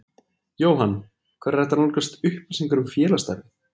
Jóhann: Hvar er hægt að nálgast upplýsingar um félagsstarfið?